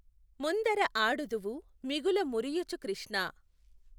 ముందఱ ఆడుదువు మిగుల ముఱియుచు కృష్ణా!